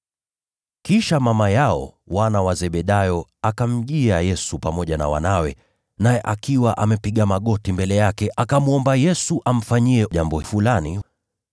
Kisha mama yao wana wa Zebedayo akamjia Yesu pamoja na wanawe, naye akapiga magoti mbele yake, akamwomba Yesu amfanyie jambo fulani.